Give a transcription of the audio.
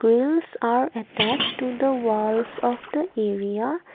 wheels are attach to the walls of the area.